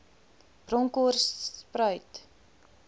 bronkhortspruit